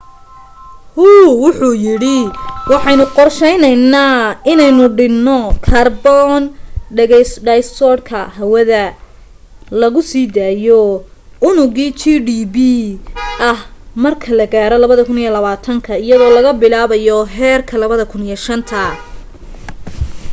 hu wuxu yidhi waxaynu qorsheynaynaa inaynu dhinno kaarboon dhayogsaydhka hawada lagu sii daayo unugii gdp ah marka la gaaro 2020 iyadoo laga bilaabayo heerka 2005